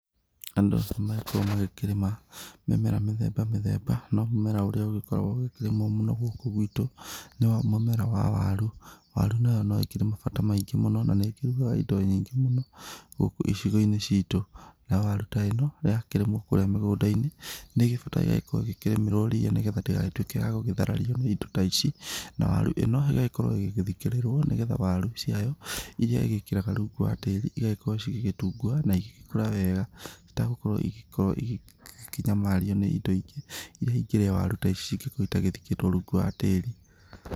Andũ nĩ magĩkoragwo makĩrĩma mĩmera mĩthemba mĩthemba no mũmera ũrĩa ũgĩkoragwo ũkĩrĩmwo mũno gũkũ gwĩtũ nĩ mũmera wa waru, waru nayo no ĩkĩrĩ mabata maingĩ mũno na nĩ ĩkĩrũgaga indo nyingĩ mũno gũkũ icigo-inĩ citũ, nayo waru ta ĩno yakĩrĩmwo kũrĩa mĩgũnda-inĩ nĩ ĩgĩbataraga gũkorwo ĩkĩrĩmirwo ria nĩgetha ndĩgagĩtuike ya gũtharario nĩ indo ta ici na waru ino igagĩkorwo ĩgĩthikĩrĩrwo nĩgetha waru ciayo irĩa igĩkiraga rungu wa tĩri cigagikorwo cigĩtunguha na igĩgĩkũra wega itagũkorwo igĩkĩnyamario indo ingĩ irĩa ingĩrĩa waru ta ici cingĩkorwo citathikĩtwo rungu wa tĩri.